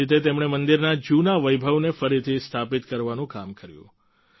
આવી રીતે તેમણે મંદિરના જૂના વૈભવને ફરીથી સ્થાપિત કરવાનું કામ કર્યું